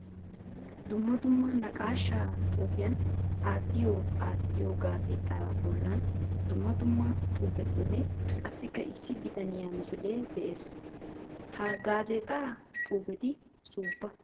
Dumma dumma naaqasha xuufiyan aattiyo aattiyo gaazzexxa bolla dumma dumma xuufetinne qassikka issi bitaniya misile de'ees. Ha gaazzetta xuufetti suufa.